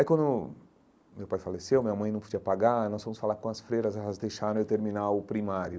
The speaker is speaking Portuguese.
Aí, quando meu pai faleceu, minha mãe não podia pagar, nós fomos falar com as freiras, elas deixaram eu terminar o primário.